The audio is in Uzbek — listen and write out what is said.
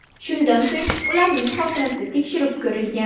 Shundan so‘ng ularning xotirasi tekshirib ko‘rilgan.